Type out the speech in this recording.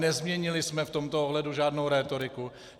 Nezměnili jsme v tomto ohledu žádnou rétoriku.